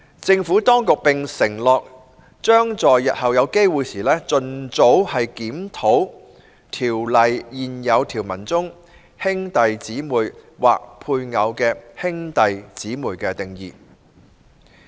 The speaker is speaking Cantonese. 政府當局並承諾，將在日後有機會時，盡早檢討《條例》現有條文中"兄弟姊妹或配偶的兄弟姊妹"的定義。